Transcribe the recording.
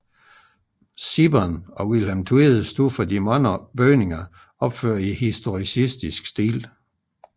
Sibbern og Vilhelm Tvede stod for de mange bygninger opført i historicistisk stil